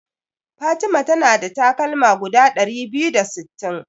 Fatima ta na da takalma guda ɗari biyu da sittin.